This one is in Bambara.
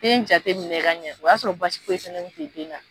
Den jateminɛ ka ɲɛ o y'a sɔrɔ basi foyi si den na.